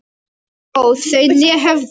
óð þau né höfðu